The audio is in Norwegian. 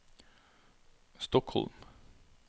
Stockholm